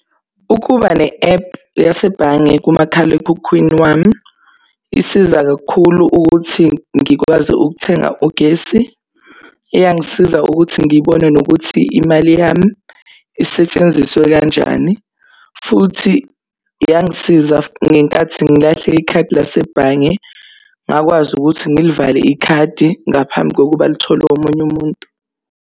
Ukuba ne-app yasebhange kumakhalekhukhwini wami. Isiza kakhulu ukuthi ngikwazi ukuthenga ugesi, iyangisiza ukuthi ngibone nokuthi imali yami isetshenziswe kanjani. Futhi yangisiza ngenkathi ngilahle ikhadi lasebhange ngakwazi ukuthi ngilivale ikhadi, ngaphambi kokuba litholwe omunye umuntu.